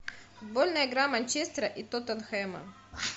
футбольная игра манчестера и тоттенхэма